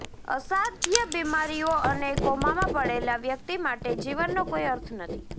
અસાધ્ય બીમારીઓ અને કોમામાં પડેલા વ્યક્તિ માટે જીવનનો કોઈ અર્થ નથી